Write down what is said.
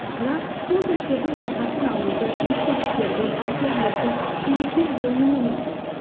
бірақ сол сәттердің рахатын алуды естеліктерді әсерлерді суреттер жоюы мүмкін